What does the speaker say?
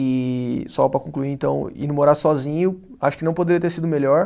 E só para concluir, então, ido morar sozinho, acho que não poderia ter sido melhor.